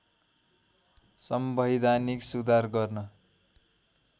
संवैधानिक सुधार गर्न